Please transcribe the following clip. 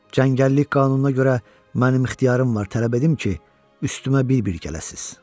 Cəngəllik qanununa görə mənim ixtiyarım var tələb edim ki, üstümə bir-bir gələsiniz.